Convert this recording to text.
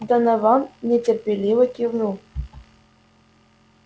донован нетерпеливо кивнул